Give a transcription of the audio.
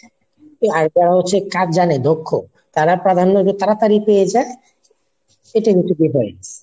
আর যারা হচ্ছে কাজ জানে দক্ষ তারা প্রাধান্য তাড়াতাড়ি পেয়ে যায় এইটাই হচ্ছে difference।